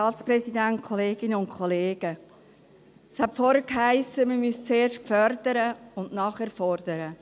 Vorhin hiess es, man müsse zuerst fördern und nachher fordern.